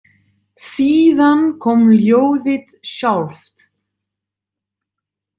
Síðan kom ljóðið sjálft: